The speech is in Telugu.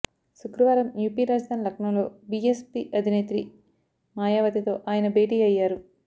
శుక్రవారం యుపి రాజధాని లక్నోలో బిఎస్ పి అధినేత్రి మాాయవతితో ఆయన భేటీ అయ్యారు